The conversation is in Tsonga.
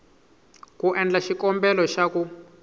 ku endla xikombelo xa ku